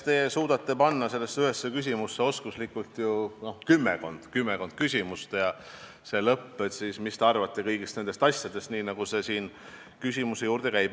Te suudate panna ühte küsimusse oskuslikult ju kümmekond küsimust ja lõpus ütlete, mis teie arvate kõigist nendest asjadest, nii nagu see küsimuse juurde käib.